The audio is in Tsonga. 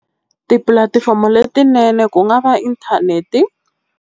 Tipulatifomo letinene ku nga va internet.